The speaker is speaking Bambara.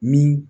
Min